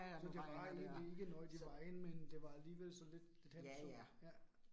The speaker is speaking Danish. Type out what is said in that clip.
Så det var egentlig ikke noget i vejen, men det var alligevel så lidt et hensyn. Ja